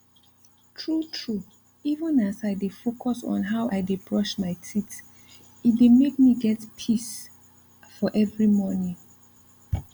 true true even as i dey focus on how i dey brush my teeth e dey make me get peace for every morning